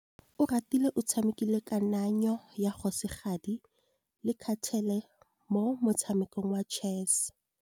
Oratile o tshamekile kananyô ya kgosigadi le khasêlê mo motshamekong wa chess.